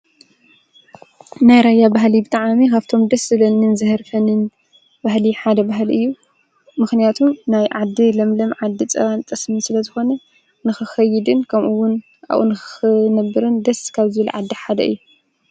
ናይ ራያ ባህሊ ብጣዕሚ ኻብቶም ድስ ዝብለኒን ዘህርፈንን ባህሊ ሓደ ባህል እዩ፡፡ ምኽንያቱም ናይ ዓዲ ለምለም ዓዲ ፀባን ጠስምን ስለ ዝኾነ ንኽኸይድን ከምኡውን ኣብኡ ንኽነብርን ደስ ካብዝብሉኒ ዓዲ ሓደ እየ፡፡